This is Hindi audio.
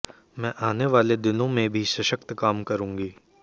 मैं आने वाले दिनों में भी सशक्त काम करूंगी